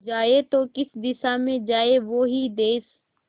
जाए तो किस दिशा में जाए वो ही देस